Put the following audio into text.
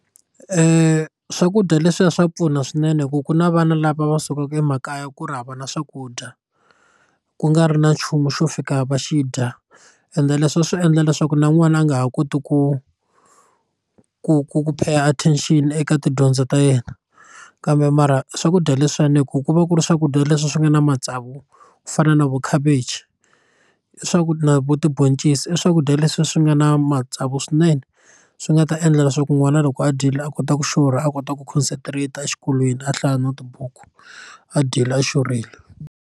Swakudya leswiya swa pfuna swinene ku ku na vana lava va sukaka emakaya ku ri hava na swakudya ku nga ri na nchumu xo fika va xi dya ende leswi swi endla leswaku na n'wana a nga ha koti ku ku ku ku pay attention eka tidyondzo ta yena kambe mara swakudya leswiwani ku ku va ku ri swakudya leswi swi nga na matsavu ku fana na vo khavichi i na vo tiboncisi i swakudya leswi swi nga na matsavu swinene swi nga ta endla leswaku n'wana loko a dyile a kota ku xurha a kota ku concentrate exikolweni a hlaya na tibuku a dyile a xurhile.